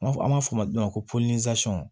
N b'a fɔ an b'a fɔ min ma ko